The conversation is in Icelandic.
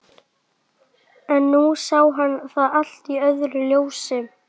En nú sá hann það allt í öðru ljósi.